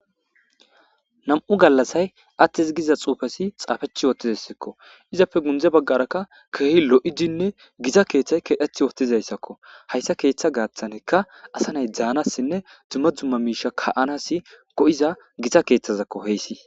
nam7u gallasay attis giza xuufesi xaafech wootizassakko izapfe gundze baggarakka keehi lo7idinne gita keeththay kedheth woootizayssakko hayssa keeththa gaaththanekka asa nay dzaanassinne dumma dumma miisha ka7anasi go7iza gita keeththazakko heyssii